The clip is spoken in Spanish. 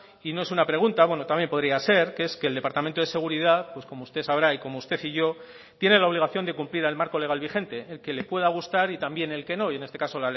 y no es una pregunta bueno también podría ser que es que el departamento de seguridad pues como usted sabrá y como usted y yo tiene la obligación de cumplir el marco legal vigente el que le pueda gustar y también el que no y en este caso